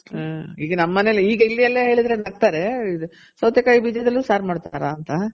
ಈಗ ನಮ್ಮನೇಲಿ ಈಗ ಇಲ್ಲೆಲ್ಲ ಹೇಳಿದ್ರೆ ನಕ್ತಾರೆ. ಸೌತೆ ಕಾ ಯಿ ಬೀಜದಲ್ಲೂ ಸಾರ್ ಮಾಡ್ತಾರಾ ಅಂತ.